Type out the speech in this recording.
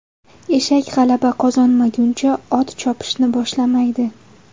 Eshak g‘alaba qozonmaguncha, ot chopishni boshlamaydi.